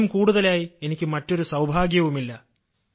ഇതിലും കൂടുതലായി എനിക്ക് മറ്റൊരു സൌഭാഗ്യവുമില്ല